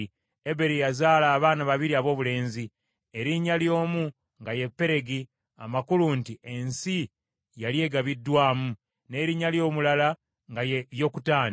Eberi yazaala abaana babiri aboobulenzi, erinnya ly’omu nga ye Peregi, amakulu nti ensi yali egabiddwamu, n’erinnya ly’omulala nga ye Yokutaani.